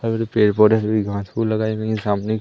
पेड़ पौधे हरी घास फूस लगाई गई सामने--